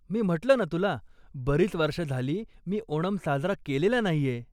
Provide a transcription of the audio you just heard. मी म्हटलं ना तुला, बरीच वर्ष झाली मी ओनम साजरा केलेला नाहीये.